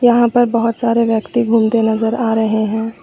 यहां पर बहोत सारे व्यक्ति घूमते नजर आ रहे हैं।